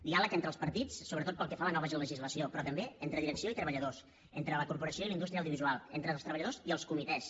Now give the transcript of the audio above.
diàleg entre els partits sobretot pel que fa a la nova legislació però també entre direcció i treballadors entre la corporació i la indústria audiovisual entre els treballadors i els comitès